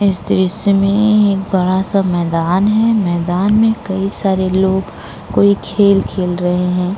इस दृश्य में एक बड़ा सा मैंदान है मैंदान में कई सारे लोग कोई खेल खेल रहे हैं।